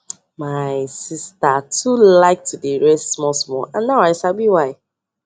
my sister too like to dey rest smallsmall and now i sabi why